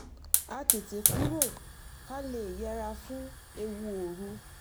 a tètè kúrò ká lè yẹra fún ewu òru